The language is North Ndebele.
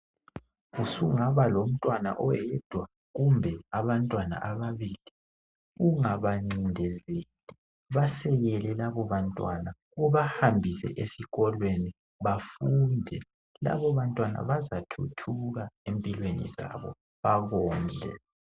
Usungaba lomntwana oyedwa kumbe ababili. Ungabacindezeli labobantwana. Bahambise esikolweni. Bazathuthuka labobantwana. Bakondle.